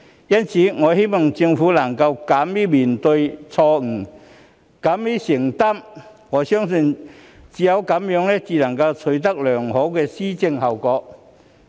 因此，我希望政府能夠敢於面對錯誤，勇於承擔，我相信只有這樣做才能取得良好的施政效果。